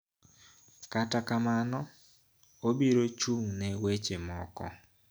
Kata kamano obiro chung` ne weche moko